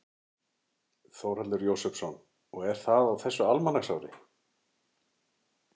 Þórhallur Jósefsson: Og er það á þessu almanaksári?